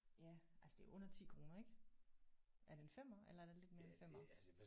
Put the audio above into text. Ja altså det er jo under 10 kroner ik. Er det en femmer eller er det lidt mere end en femmer